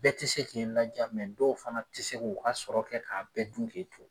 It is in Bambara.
Bɛɛ te sek'i laja mɛ dɔw fana te se k'u ka sɔrɔ kɛ k'a bɛɛ dun k'e to